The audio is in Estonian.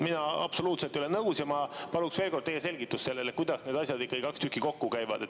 Mina absoluutselt ei ole nõus ja ma paluks veel kord teie selgitust sellele, kuidas need kaks asja ikkagi kokku käivad.